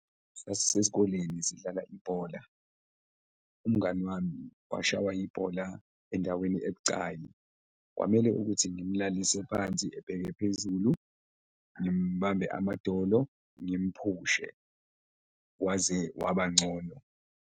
Sasisesikoleni sidlala ibhola, umngani wami washawa ibhola endaweni ebucayi, kwamele ukuthi ngimlalise phansi ebheke phezulu, ngimbambe amadolo ngimphushe, waze wabangcono.